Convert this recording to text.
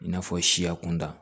I n'a fɔ siya kunda